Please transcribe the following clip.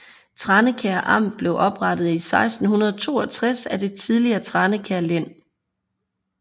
Tranekær Amt blev oprettet i 1662 af det tidligere Tranekær Len